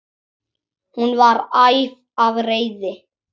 Hún var æf af reiði.